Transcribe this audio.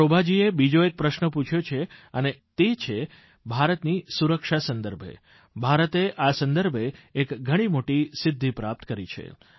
શોભાજીએ બીજો એક પ્રશ્ન પૂછ્યો છે અને તે છે ભારતની સુરક્ષા સંદર્ભે ભારતે આ સંદર્ભે એક ઘણી મોટી સિદ્ધિ પ્રાપ્ત કરી છે